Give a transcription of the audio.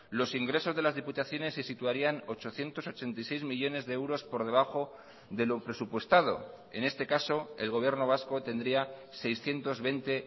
los ingresos de las diputaciones se situarían ochocientos ochenta y seis millónes de euros por debajo de lo presupuestado en este caso el gobierno vasco tendría seiscientos veinte